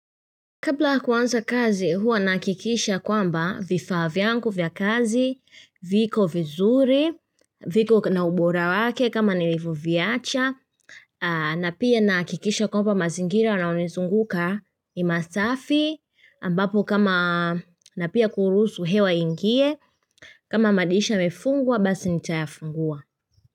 Kabla ya kuanza kazi huwa nahakikisha kwamba vifaa vyangu vya kazi, viko vizuri, viko na ubora wake kama nilivoviacha, na pia nahakikisha kwamba mazingira yanayonizunguka ni masafi, ambapo kama na pia kuruhusu hewa iingie, kama madirisha yamefungwa basi nitayafungua.